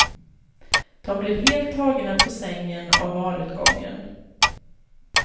De blev helt tagna på sängen av valutgången.